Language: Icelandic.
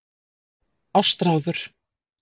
Ástráður